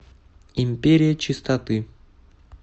империя чистоты